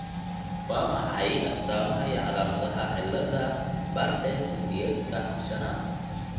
Waa maxay astamaha iyo calaamadaha cilada Bardet Biedlka shanaad?